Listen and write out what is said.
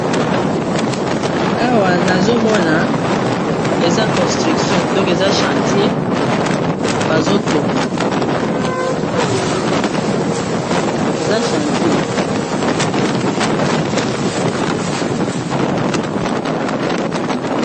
Awa nazomona eza construction donc eza chantier bazotonga eza chantier.